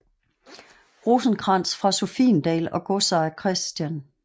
Rosenkrantz fra Sophiendal og godsejer Chr